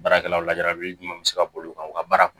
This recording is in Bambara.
Baarakɛlaw lajarabi jumɛn bi se ka boli u kan u ka baara